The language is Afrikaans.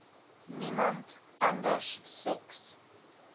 niemand anders seks